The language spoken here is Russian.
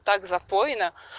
так запойно